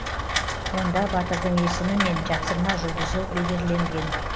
онда батырдың есімі мен жапсырма жұлдызы бедерленген